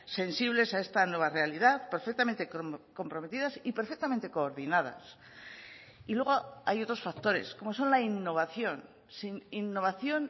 sensibles a esta nueva realidad perfectamente comprometidas y perfectamente coordinadas y luego hay otros factores como son la innovación sin innovación